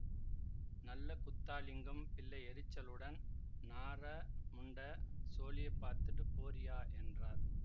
நல்லகுத்தாலிங்கம் பிள்ளை எரிச்சலுடன் நாற முண்ட சோலியப்பாத்துட்டு போறியா என்றார்